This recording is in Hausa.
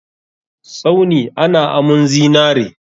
Tsauni ana amun zinare.